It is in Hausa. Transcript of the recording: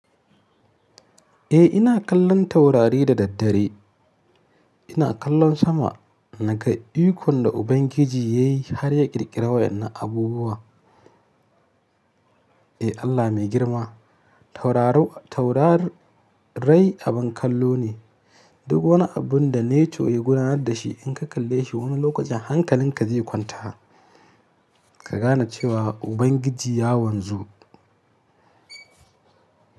Eh ina kallon taurari da daddare. Ina kallon sama naga iko da Ubangiji ya yi har ya ƙirƙiri waɗannan abubuwa. Eh Allah mai girma. Taurarai abin kallo ne. Duk wani abun da nature ya gudanar da shi in ka kalle shi wani lokacin hankalinka zai kwanta ka gane cewa Ubangiji ya wanzu.